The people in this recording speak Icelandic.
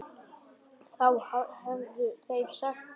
Þá hefðu þeir sagt það.